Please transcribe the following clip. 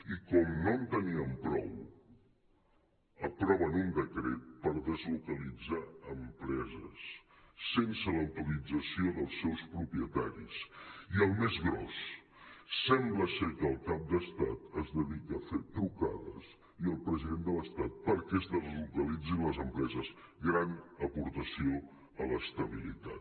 i com no en tenien prou aproven un decret per deslocalitzar empreses sense l’autorització dels seus propietaris i el més gros sembla ser que el cap d’estat es dedica a fer trucades i el president de l’estat per·què es deslocalitzin les empreses gran aportació a l’estabilitat